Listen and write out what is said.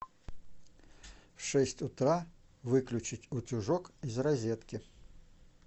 в шесть утра выключить утюжок из розетки